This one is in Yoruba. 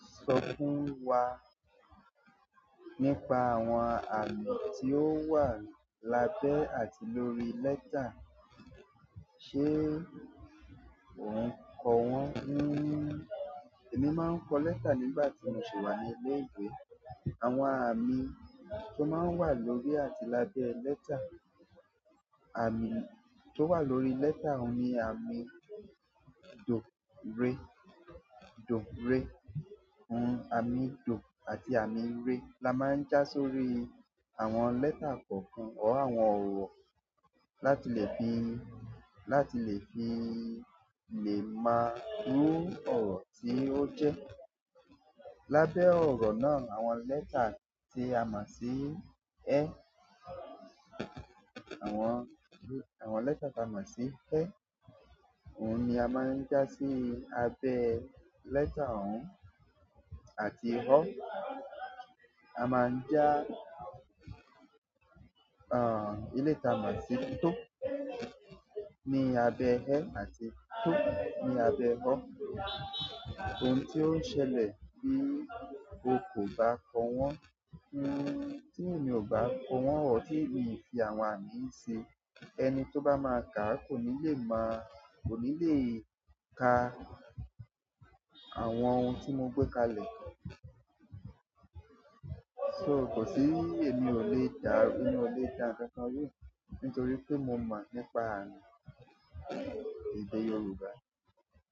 Sọ fún wa nípa àwọn àmì tí ó wà lábẹ́ àti lórí lẹ́tà, ṣe o n ko wọ́n? Èmi mo n ko lẹ́tà nígbà tí mo ṣi wà ní ilé ìwé. Àwọn àmì tó má n wà lórí àti lábẹ́ lẹ́tà, àmì tó wà lórí lẹ́tà òun ni àmì do-ré, do-ré. Àmì do àti àmì re la má ń já sórí àwọn lẹ́tà kọ̀ọ̀kan or àwọn ọ̀rọ̀ láti lè fi, láti lè fi lè mo iru ọ̀rọ̀ tí ó jẹ́. Lábẹ́ ọ̀ro náà àwọn lẹ́tà tí a mọ̀ sí ẹ, àwọn, àwọn lẹ́tà tí a mọ̀ sí ẹ, òun ni a má ń já sí abẹ lẹ́tà òun àti ọ́. A máa ń já, eleyii ti a mo sí tó ní abẹ ẹ àti tó ní abẹ ọ́. Ohun ti o ṣẹlẹ̀ bí o kò bá kọ wọ́n, n-tí èmi ò bá kọ wọ́n, ọ̀rọ̀ tí èmi fi àwọn àmì ṣe, ẹni tó bá máa kà á kò ní lè mo, kò ní lè ka àwọn ohun tí mo gbé kalẹ̀. So kò sí èmi ò lè ka, èmi ò lè ká nkankan, nítorí pé mo mọ̀ nípa àmì èdè Yorùbá.